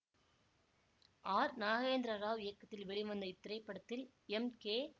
R Nagendra Rao இயக்கத்தில் வெளிவந்த இத்திரைப்படத்தில் எம் கே